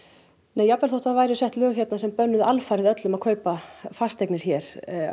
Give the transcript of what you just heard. nei jafnvel þótt það væru sett lög hér sem bönnuðu alfarið öllum útlendingum að kaupa fasteignir hér